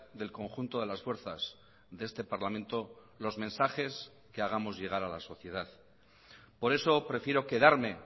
del conjunto de las fuerzas de este parlamento los mensajes que hagamos llegar a la sociedad por eso prefiero quedarme